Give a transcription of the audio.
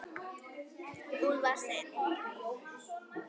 Úlfar Steinn.